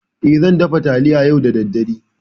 E, zan dafa taliya yau da daddare.